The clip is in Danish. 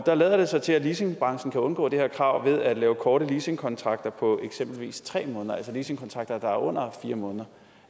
der lader det så til at leasingbranchen kan undgå det her krav ved at lave korte leasingkontrakter på eksempelvis tre måneder altså leasingkontrakter der er under fire måneder